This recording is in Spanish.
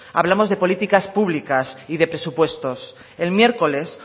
hablamos de políticas públicas y de presupuestos el miércoles